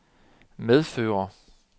medføre